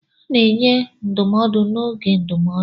A na-enye ndụmọdụ n'oge oge ndụmọdụ.